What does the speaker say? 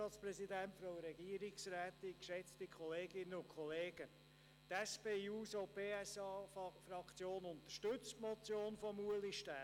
Die SP-JUSO-PSA-Fraktion unterstützt die Motion von Ulrich Stähli.